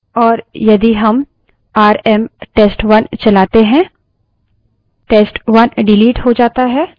और यदि rm RM test1 चलाते हैं test1 डिलीट हो जाता है